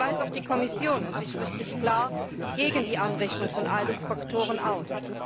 Das weiß auch die Kommission und sie spricht sich klar gegen die Anrechnung von ILUC Faktoren aus.